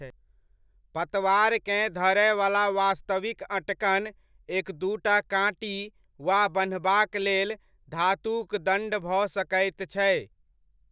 पतवारकेँ धड़यवला वास्तविक अँटकन एक दूटा काँटी वा बन्हबाक लेल धातुक दण्ड भऽ सकैत छै।